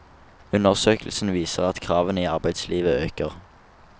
Undersøkelsen viser at kravene i arbeidslivet øker.